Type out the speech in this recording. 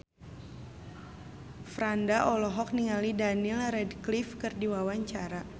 Franda olohok ningali Daniel Radcliffe keur diwawancara